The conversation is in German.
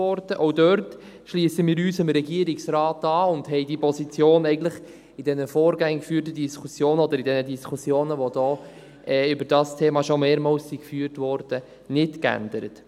Auch da schliessen wir uns dem Regierungsrat an und haben die Position in den vorgängig geführten Diskussionen oder in den Diskussionen, die hier zu diesem Thema schon mehrfach geführt wurden, nicht geändert.